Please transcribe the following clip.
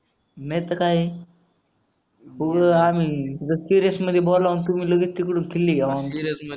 नाहीतर काय ए आम्ही सिरीयस मध्ये बोलाव तुम्ही लगे तिकडून खिल्ली घ्यावं